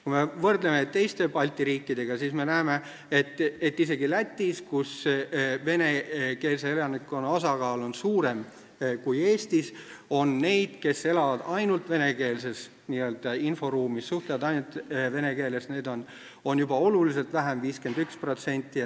Kui me võrdleme teiste Balti riikidega, siis me näeme, et isegi Lätis, kus venekeelse elanikkonna osakaal on suurem kui Eestis, on neid, kes elavad ainult venekeelses inforuumis, st suhtlevad ainult vene keeles, juba oluliselt vähem, 51%.